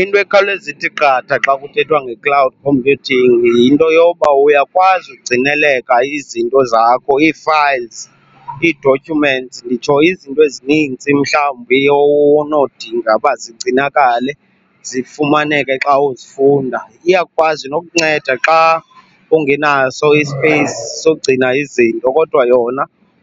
Into ekhawuleza ithi qatha xa kuthethwa nge-cloud computing yinto yoba uyakwazi ugcineleka izinto zakho, ii-files, ii-documents, nditsho izinto ezininzi mhlawumbi onodinga uba zigcinakale zifumaneke xa uzifunda. Iyakwazi nokukunceda xa ungenaso ispeyisi sokugcina izinto kodwa yona